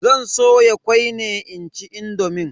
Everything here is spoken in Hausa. Zan soya kwai ne inci indomin.